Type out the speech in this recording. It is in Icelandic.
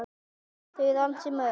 Þau eru ansi mörg.